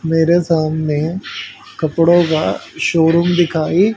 मेरे सामने कपड़ों का शोरूम दिखाई--